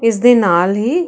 ਇਸ ਦੇ ਨਾਲ ਹੀ --